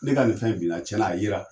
Ne ka nin fɛn in bila cɛna a yera